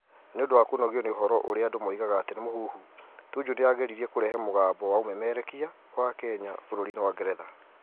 Nĩ ũndũ wa kũnogio nĩ ũhoro ũrĩa andũ moigaga atĩ nĩ mũhuhu, Tuju nĩ aageririe kũrehe mũgambo wa ũmemerekia wa Kenya bũrũri-inĩ wa Ngeretha.